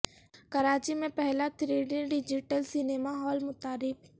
کراچی میں پہلا three D digital cinema hall متعارف